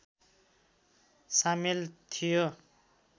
सामेल थियो